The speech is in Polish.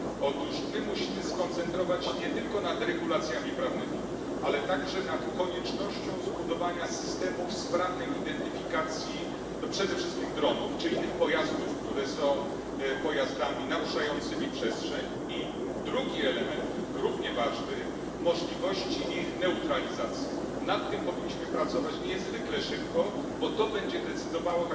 Otóż musimy skoncentrować się nie tylko na regulacjach prawnych, ale także na konieczności zbudowania systemów sprawnej identyfikacji przede wszystkim dronów oraz innych pojazdów, które naruszają przestrzeń. Drugi element, równie ważny, dotyczy możliwości ich neutralizacji. Nad tym powinniśmy pracować niezwykle szybko, bo to tak naprawdę będzie decydowało